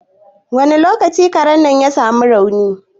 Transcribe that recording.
Wani lokaci Karen nan ya sa mu rauni?